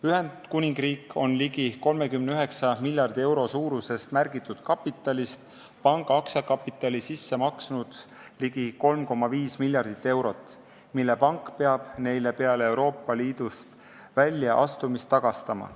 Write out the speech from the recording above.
Ühendkuningriik on ligi 39 miljardi euro suurusest märgitud kapitalist panga aktsiakapitali sisse maksnud ligi 3,5 miljardit eurot, mille pank peab neile peale Euroopa Liidust väljaastumist tagastama.